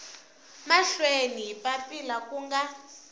mahlweni hi papila ku nga